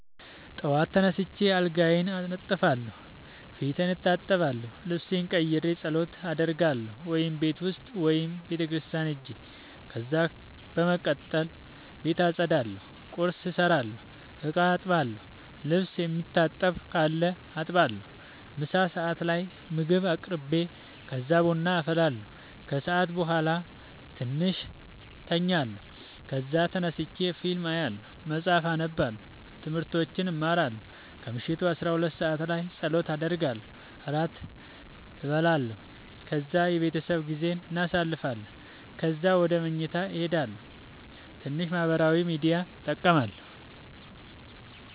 ጠዋት ተነስቼ አልጋዬን አነጥፋለሁ፣ ፊቴን እታጠባለሁ፣ ልብሴን ቀይሬ ፀሎት አደርጋለሁ(ቤት ውስጥ ወይም ቤተክርስቲያን ሄጄ) ከዛ በመቀጠል ቤት አፀዳለሁ፣ ቁርስ እሰራለሁ፣ እቃ አጥባለሁ፣ ልብስ የሚታጠብ ካለ አጥባለሁ፣ ምሳ ሰዓት ላይ ምግብ አቅርቤ ከዛ ቡና አፈላለሁ። ከሰዓት በኋላ ትንሽ ተኛለሁ ከዛ ተነስቼ ፊልም አያለሁ መፀሀፍ አነባለሁ። ትምህርቶች እማራለሁ። ከምሽቱ 12 ሰዓት ላይ ፀሎት አደርጋለሁ። ራት እንበላለን ከዛ የቤተሰብ ጊዜ እናሳልፋለን። ከዛ ወደ መኝታ ሄዳለሁ። ትንሽ ማህበራዊ ሚድያ እጠቀማለሁ።